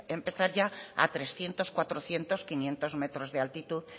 empezar ya a trescientos cuatrocientos quinientos metros de altitud